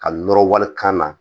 Ka nɔrɔ walikan na